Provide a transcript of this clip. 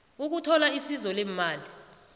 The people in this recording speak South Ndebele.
ukuthola isizo leemali